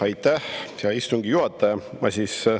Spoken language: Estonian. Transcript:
Aitäh, hea istungi juhataja!